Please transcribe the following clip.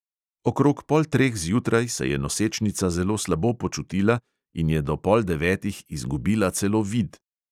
Okrog pol treh zjutraj se je nosečnica zelo slabo počutila in je do pol devetih izgubila celo vid.